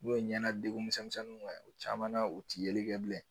N'o ye ɲɛna degun misɛnninw ye o caman na u tɛ yeli kɛ bilen